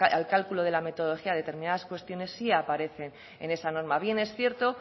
al cálculo de la metodología determinadas cuestiones sí aparece en esta norma bien es cierto